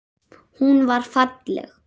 Hún var falleg.